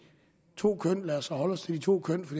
to køn lad os så holde os til de to køn for